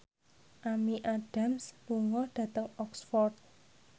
Amy Adams lunga dhateng Oxford